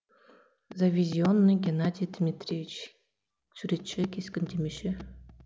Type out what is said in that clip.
завизионный геннадий дмитриевич суретші кескіндемеші